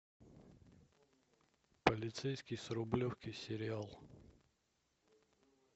полицейский с рублевки сериал